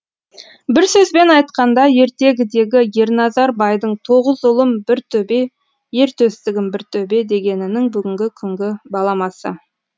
бір сөзбен айтқанда ертегідегі ерназар байдың тоғыз ұлым бір төбе ертөстігім бір төбе дегенінің бүгінгі күнгі баламасы